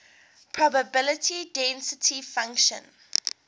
probability density function